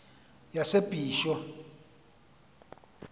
yasebisho